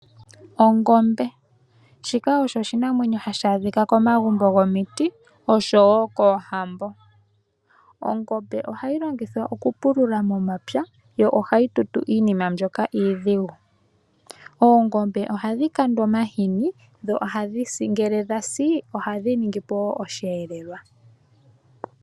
Ongombe shika osho oshinamwenyo hashi adhika komagumbo gomiti oshowo koohambo. Ongombe ohayi longithwa okupulula momapya yo ohayi tutu iinima mbyoka iidhigu. Oongombe ohadhi kandwa omahini dho ohadhi si ngele dhasi oha dhi ningi po osheelelwa.